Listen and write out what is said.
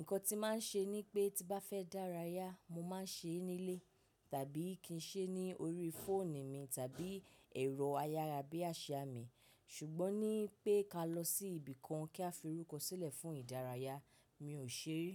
Ǹkan tí màá ń ṣe ni pé tí bá fẹ́ dárayá, mo máa ń ṣe é nílé tàbí kí n ṣe é ní orí fóònù mi tàbí ẹ̀rọ ayárabíàṣá mi. Ṣùgbọ́n ní pé ká lọ sí ibìkan kí a fi orúkọ sílẹ̀ fún ìdárayá, mi ò ṣe ri.